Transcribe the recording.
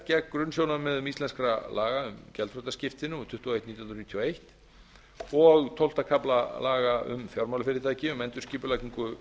gegn grunnsjónarmiðum íslenskra laga um gjaldþrotaskipti númer tuttugu og eitt nítján hundruð níutíu og eins og tólfta kafla laga um fjármálafyrirtæki um endurskipulagningu